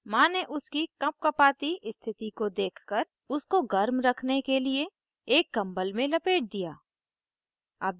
माँ ने उसकी कँपकँपाती स्थिति को देखकर उसको warm रखने के लिए एक कम्बल में लपेट दिया